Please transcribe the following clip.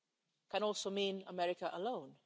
It can also mean America alone.